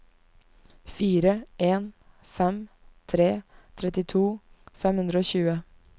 fire en fem tre trettito fem hundre og tjue